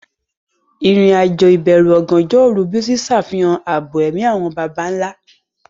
Ìrìn-àjò ìbẹ̀rù ọ̀gànjọ́ òru Bisi ṣàfihàn ààbò ẹ̀mí àwọn baba ńlá.